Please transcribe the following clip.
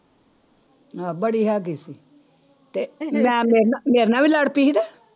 ਆਹ ਬੜੀ ਹੈਗੀ ਸੀ ਤੇ ਮੈਂ ਮੇਰੇ ਨਾਲ ਮੇਰੇ ਨਾਲ ਵੀ ਲੜ ਪਈ ਸੀ ਤੇ